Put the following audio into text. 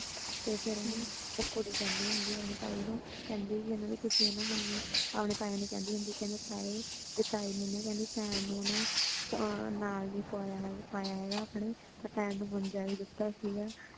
ਤੇ ਫੇਰ ਉਹ ਨਾ ਉਹ ਕੁੜੀ ਕਹਿੰਦੀ ਹੋਂਦੀ ਹੈ, ਆਪਣੀ ਤਾਈ ਨੂੰ ਕੇਂਦੀ ਹੋਂਦੀ ਹੈ ਕੀ ਮੈਨੂੰ ਤੁਸੀਂ ਅਪਣੇ ਤਾਏ ਨੂੰ ਕੇਂਦੀ ਹੋਂਦੀ ਤਾਈ ਨੇ ਪੈਨਣੁ ਨਾ ਨਾਲ ਨਹੀਂ ਪਾਯਾ ਹੇਗਾ ਤੇ ਪੈਨਣੁ ਮੰਜਾ ਵੀ ਦਿਤਾ ਹੇਗਾ